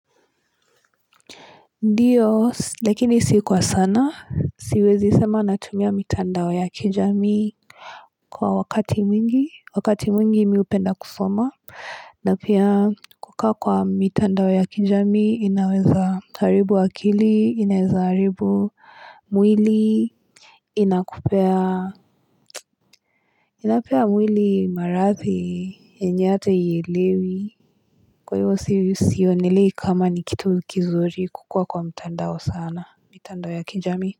Ndiyo, lakini si kwa sana, siwezi sema natumia mitandao ya kijamii kwa wakati mwingi, wakati mwingi mi hupenda kusoma. Na pia kukaa kwa mitandao ya kijami, inaweza haribu akili, inaweza haribu mwili, inapea mwili marathi, enye ata hielewi. Kwa hivyo sionelei kama ni kitu kizuri kukua kwa mitandao sana, mitandao ya kijami.